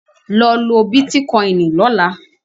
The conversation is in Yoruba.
Lọ lo Bítíkoìnì lọ́la!